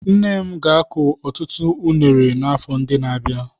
Nne m ga-akụ ọtụtụ unere n'afọ ndị na-abịa.